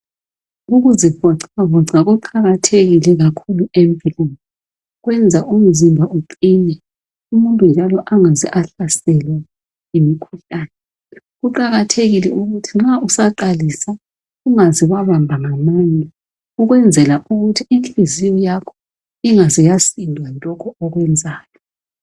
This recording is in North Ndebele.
Ukuzivoxavoxa kuqakathekile kakhulu empilweni kuyenza umzimba uqine umuntu njalo angaze ahlaselwa yimikhuhlane kuqakathekile ukuthi nxa usaqalisa ungaze wabamba ngamandla ukwenzela ukuthi inhliziyo yakho ingaze yasindwa yilokhu okwenzayo.